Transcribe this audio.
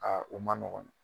u man nɔgɔn